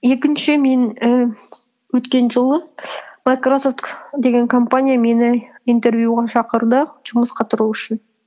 екінші мен ііі өткен жылы майкрософт деген компания мені интервьюға шақырды жұмысқа тұру үшін